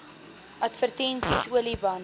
advertensies olie bande